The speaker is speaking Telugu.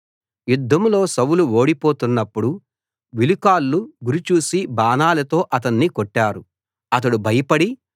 యుద్ధంలో సౌలు ఓడిపోతున్నప్పుడు విలుకాళ్ళు గురి చూసి బాణాలతో అతణ్ణి కొట్టారు అతడు భయపడి